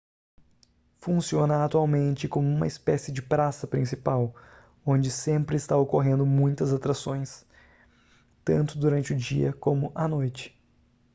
funciona atualmente como uma espécie de praça principal onde sempre está ocorrendo muitas atrações tanto durante o dia como a noite